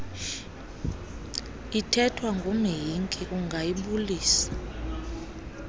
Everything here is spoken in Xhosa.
ithethwa ngumhinki ungayibulisa